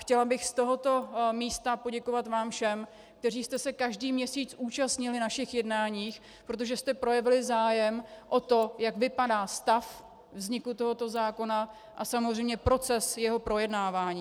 Chtěla bych z tohoto místa poděkovat vám všem, kteří jste se každý měsíc účastnili našich jednání, protože jste projevili zájem o to, jak vypadá stav vzniku tohoto zákona a samozřejmě proces jeho projednávání.